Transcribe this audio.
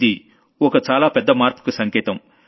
ఇది ఒక చాలా పెద్ద మార్పుకు సంకేతం